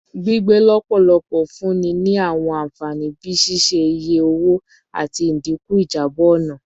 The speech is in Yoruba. Gbigbe lọpọlọpọ n funni ni awọn anfani bii ṣiṣe-iye owo ati idinku ijabọ ọna